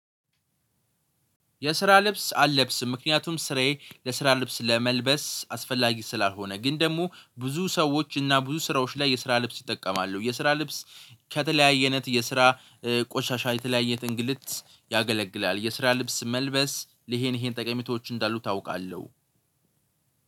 የስራ ልብስ አልለብስም ምክንያቱም ስራዬ ለስራ ልብስ ለመልበስ አስፈላጊ ስላልሆነ ግን ደግሞ ብዙ ሰዎች እና ብዙ ስራዎች ላይ የስራ ልብስ ይጠቀማሉ የስራ ልብስ ከተለያየነት የስራ ቆሻሻ የተለያየ እንግልት ያገለግላል። የስራ ልብስ መልበስ ይሄን ይሄን ጠቀሚቶች እንዳሉ ታውቃለሁ።